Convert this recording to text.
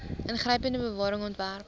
ingrypende bewaring ontwerp